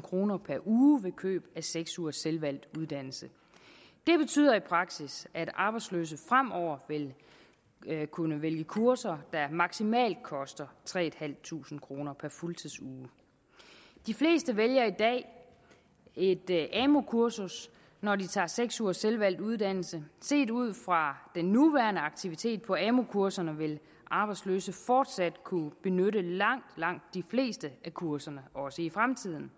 kroner per uge ved køb af seks ugers selvvalgt uddannelse det betyder i praksis at arbejdsløse fremover vil kunne vælge kurser der maksimalt koster tre tusind kroner per fuldtidsuge de fleste vælger i dag et amu kursus når de tager seks ugers selvvalgt uddannelse set ud fra den nuværende aktivitet på amu kurserne vil arbejdsløse fortsat kunne benytte langt langt de fleste af kurserne også i fremtiden